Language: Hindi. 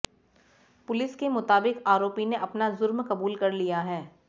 पुलिस के मुताबिक आरोपी ने अपना जुर्म कबूल कर लिया है